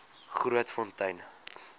grootfontein